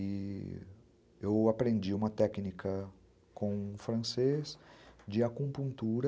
E... eu aprendi uma técnica com o francês de acupuntura,